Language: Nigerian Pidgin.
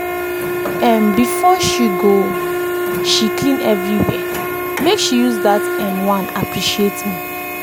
um before she go she clean everywhere make she use that um one appreciate me.